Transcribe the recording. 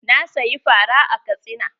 Na siyi fara a Katsina.